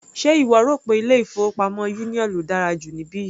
Ṣe ìwọ rò pé ilé-ìfowópamọ́ union ló dára jù níbí yìí?